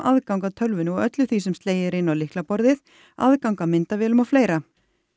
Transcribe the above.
aðgang að tölvunni og öllu því sem slegið er inn á lyklaborðið aðgang að myndavélum og fleira